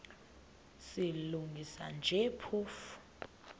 silungisa nje phofu